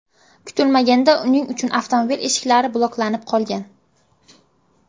Kutilmaganda uning uchun avtomobil eshiklari bloklanib qolgan.